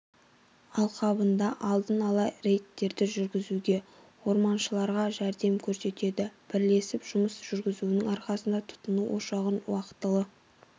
алқабында алдына ала рейдтерді жүргізуге орманшыларға жәрдем көрсетеді бірлесіп жұмыс жүргізуінің арқасында тұтыну ошағын уақытылы